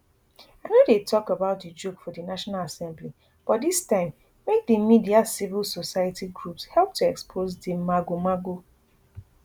i no dey tok about d joke for di national assembly but dis time make di media civil society groups help to expose di magomago